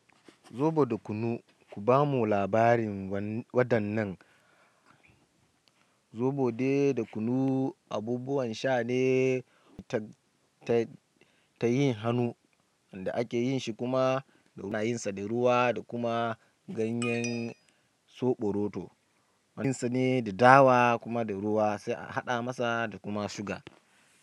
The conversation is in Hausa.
Zobo da kunu. Ku ba mu labarin waɗannan. Zobo dai da kunu abubuwan sha ne ta, ta, ta yin hannu inda ake yin shi kuma ana yin sa da ruwa da kuma ganyen zoɓo rodo. Ana yin sa ne da dawa kuma da ruwa sai a haɗa masa da kuma suga.